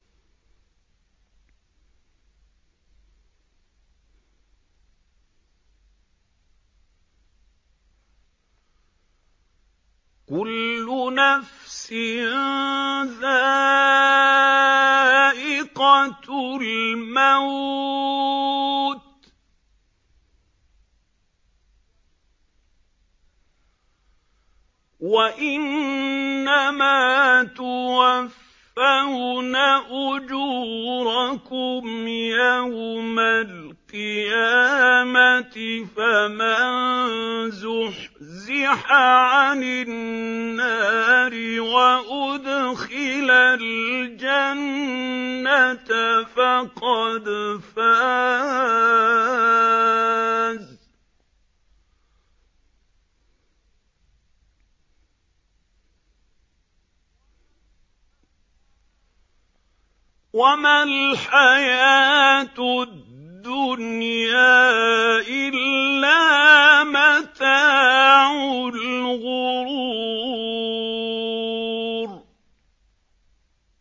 كُلُّ نَفْسٍ ذَائِقَةُ الْمَوْتِ ۗ وَإِنَّمَا تُوَفَّوْنَ أُجُورَكُمْ يَوْمَ الْقِيَامَةِ ۖ فَمَن زُحْزِحَ عَنِ النَّارِ وَأُدْخِلَ الْجَنَّةَ فَقَدْ فَازَ ۗ وَمَا الْحَيَاةُ الدُّنْيَا إِلَّا مَتَاعُ الْغُرُورِ